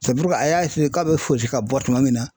a y'a k'a bɛ fosi ka bɔ tuma min na